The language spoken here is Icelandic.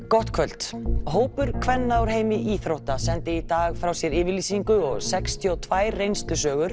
gott kvöld hópur kvenna úr heimi íþrótta sendi í dag frá sér yfirlýsingu og sextíu og tvær reynslusögur